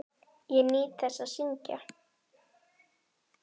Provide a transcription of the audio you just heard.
Ég nýt þess að syngja.